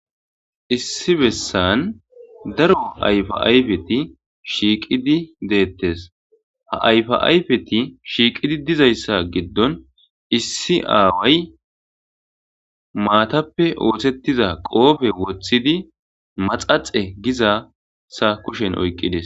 Issi bessan daro ayfa ayfeti shiiqidi deettes ha ayfaayfeti shiiqidi dizayssa giddon issi aaway maatappe ootettiza qoofe woththidi maxaxe gizasa kushen oyqqides.